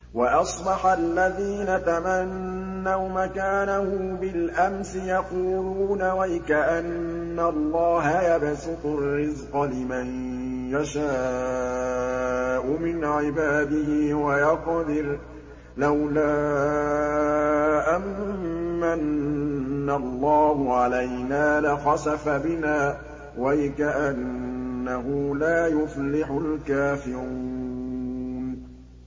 وَأَصْبَحَ الَّذِينَ تَمَنَّوْا مَكَانَهُ بِالْأَمْسِ يَقُولُونَ وَيْكَأَنَّ اللَّهَ يَبْسُطُ الرِّزْقَ لِمَن يَشَاءُ مِنْ عِبَادِهِ وَيَقْدِرُ ۖ لَوْلَا أَن مَّنَّ اللَّهُ عَلَيْنَا لَخَسَفَ بِنَا ۖ وَيْكَأَنَّهُ لَا يُفْلِحُ الْكَافِرُونَ